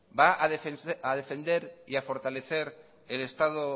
va a defender y a fortalecer el estado